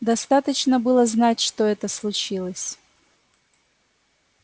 достаточно было знать что это случилось